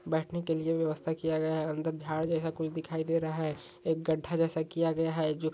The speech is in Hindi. बैठने के लिए व्यवस्था किया गया है अंदर झाड़ जैसा कुछ दिखाई दे रहा है एक गड़ा जैसा किया गया है जो --